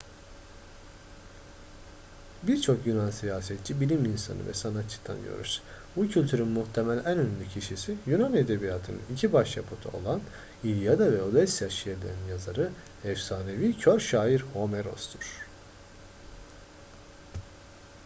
birçok yunan siyasetçi bilim insanı ve sanatçı tanıyoruz. bu kültürün muhtemel en ünlü kişisi yunan edebiyatının iki başyapıtı olan i̇lyada ve odysseia şiirlerinin yazarı efsanevi kör şair homeros'tur